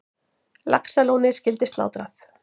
Laxalóni skyldi slátrað.